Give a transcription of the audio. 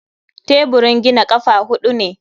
Teburin gina ƙafa huɗu ne.